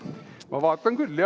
Ma vaatan küll, jah.